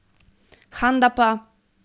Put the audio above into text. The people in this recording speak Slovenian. Handa pa ...